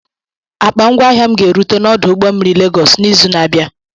Akpa ngwaahia m ga-erute n'ọdụ ụgbọ mmiri Lagos n'izu na-abịa.